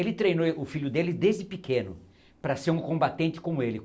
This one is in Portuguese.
Ele treinou êh o filho dele desde pequeno para ser um combatente como ele.